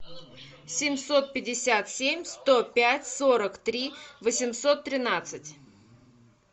семьсот пятьдесят семь сто пять сорок три восемьсот тринадцать